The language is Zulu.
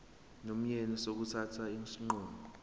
nomyeni sokuthatha isinqumo